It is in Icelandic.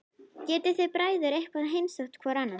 Getið þið bræður eitthvað heimsótt hvor annan?